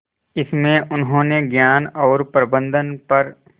इसमें उन्होंने ज्ञान और प्रबंधन पर